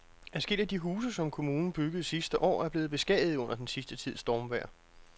Adskillige af de huse, som kommunen byggede sidste år, er blevet beskadiget under den sidste tids stormvejr.